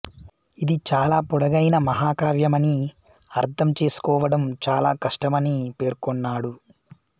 ఇది చాలా పొడుగైన మహాకావ్యమని అర్థంచేసుకోవటం చాలా కష్టమని పేర్కొన్నాడు